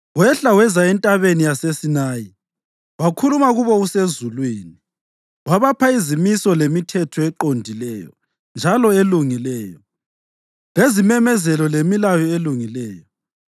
Wehla weza eNtabeni yaseSinayi; wakhuluma kubo usezulwini. Wabapha izimiso lemithetho eqondileyo njalo elungileyo, lezimemezelo lemilayo elungileyo.